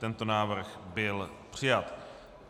Tento návrh byl přijat.